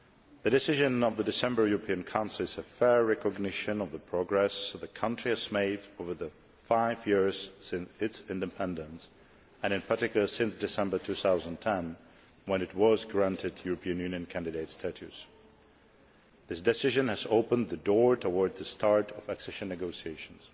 The decision of the December European Council is a fair recognition of the progress the country has made over the five years since its independence, and in particular since December 2010 when it was granted European Union candidate status. This decision has opened the door towards the start of accession negotiations.